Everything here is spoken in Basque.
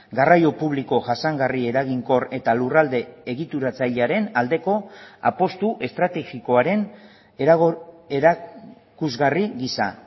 garraio publiko jasangarri eraginkor eta lurralde egituratzailearen aldeko apustu estrategikoaren erakusgarri gisa